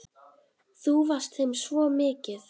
Þú varst þeim svo mikið.